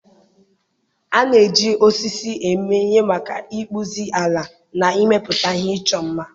A na-eji osisi eme ihe maka ịkpụzi, ala na ịmepụta ihe ịchọ mma.